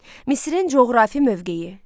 Misirin coğrafi mövqeyi.